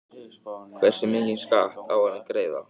Hversu mikinn skatt á hann að greiða?